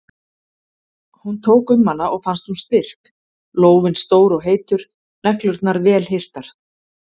Hún tók um hana og fannst hún styrk, lófinn stór og heitur, neglurnar vel hirtar.